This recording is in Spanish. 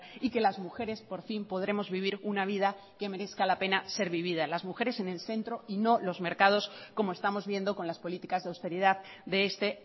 y que las mujeres por fin podremos vivir una vida que merezca la pena ser vivida las mujeres en el centro y no los mercados como estamos viendo con las políticas de austeridad de este